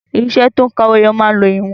Irinṣẹ́ to ń ka owó ẹyọ máa ń lo ìwọ̀n.